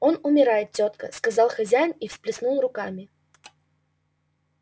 он умирает тётка сказал хозяин и всплеснул руками